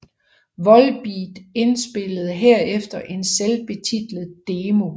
Volbeat indspillede herefter en selvbetitlet demo